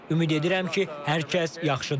Ümid edirəm ki, hər kəs yaxşıdır.